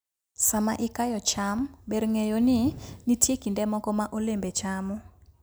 Sama ikayo cham, ber ng'eyo ni nitie kinde moko ma olembe chamo.